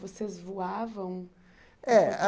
Vocês voavam? É a